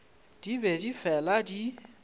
di be di fela di